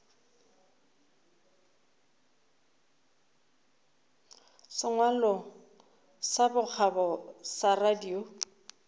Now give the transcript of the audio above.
sengwalo sa bokgabo sa radio